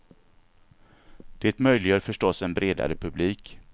Det möjliggör förstås en bredare publik.